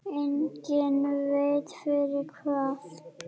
Enginn veit fyrir hvað.